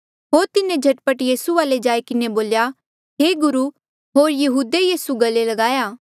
होर तिन्हें झट पट यीसू वाले जाई किन्हें बोल्या हे गुरु होर यहूदे यीसू गले ल्गाई किन्हें चूमी लया